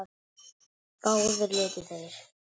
Báðir létu þeir